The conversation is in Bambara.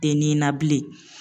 Tɛ nin na bilen.